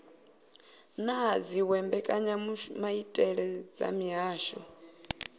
na dziwe mbekanyamaitele dza mihasho